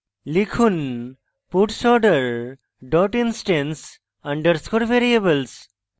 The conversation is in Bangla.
লিখুন puts order dot instance underscore variables